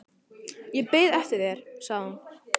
Ég beið eftir þér, sagði hún.